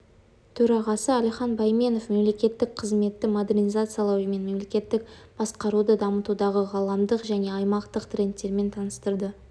төрағасы әлихан бәйменов мемлекеттік қызметті модернизациялау мен мемлекеттік басқаруды дамытудағы ғаламдық және аймақтық трендтермен таныстырды